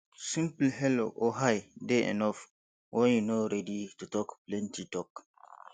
simple hello or hi dey enough when you no ready to talk plenty talk